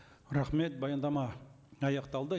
рахмет баяндама аяқталды